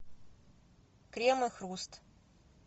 крем и хруст